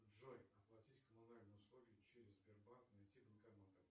джой оплатить коммунальные услуги через сбербанк найти банкоматы